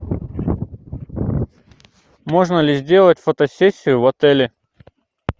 можно ли сделать фотосессию в отеле